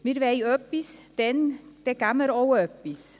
Wir wollen etwas, und dann geben wir auch etwas.